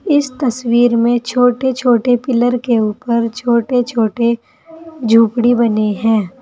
इस तस्वीर में छोटे छोटे पिलर के ऊपर छोटे छोटे झोपड़ी बने हैं।